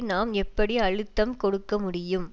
நாம் எப்படி அழுத்தம் கொடுக்க முடியும்